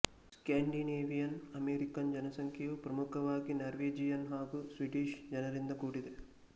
Scandinavian American ಜನಸಂಖ್ಯೆಯು ಪ್ರಮುಖವಾಗಿ Norwegian ಹಾಗು ಸ್ವೀಡಿಶ್ ಜನರಿಂದ ಕೂಡಿದೆ